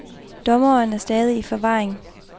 Dommeren er stadig i forvaring.